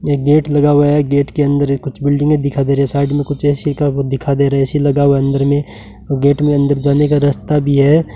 एक गेट लगा हुआ है गेट के अंदर कुछ बिल्डिंग में दिखा दे रही साइड में कुछ ए_सी का वो दिखा दे रहे ए_सी लगा हुआ अंदर में गेट में अंदर जाने का रास्ता भी है।